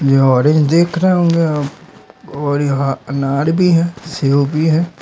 ये ऑरेंज देख रहे होंगे हम और यहां अनार भी है सेब भी है।